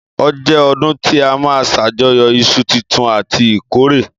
Ọ jẹ ọ̀dún ti àmá sàjọyọ ìsú títùn àtí ìkọrẹ